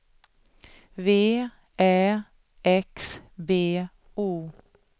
V Ä X B O